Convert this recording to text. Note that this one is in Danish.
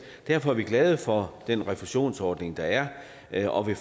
derfor er vi glade for den refusionsordning der er er og vi